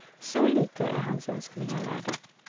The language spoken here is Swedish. Så lite är hans önskningar värda.